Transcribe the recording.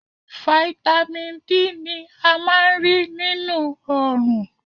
Fáítámì D ni a máa ń rí nínú Òòrùn.